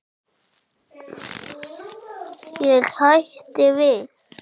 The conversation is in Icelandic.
Ég hætti við.